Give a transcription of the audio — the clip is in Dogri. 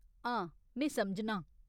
हां, में समझनां।